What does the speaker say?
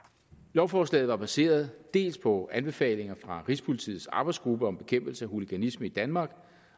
lovforslaget var baseret dels på anbefalinger fra rigspolitiets arbejdsgruppe om bekæmpelse af hooliganisme i danmark